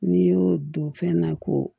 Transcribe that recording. N'i y'o don fɛn na ko